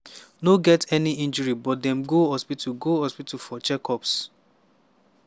no get any injury but dem go hospital go hospital for check-ups.